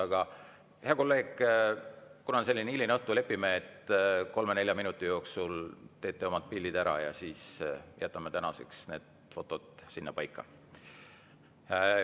Aga hea kolleeg, kuna on hiline õhtutund, siis lepime kokku, et kolme-nelja minuti jooksul tehakse oma pildid ära ja siis jätame tänaseks fotode sinnapaika.